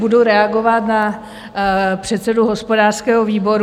Budu reagovat na předsedu hospodářského výboru.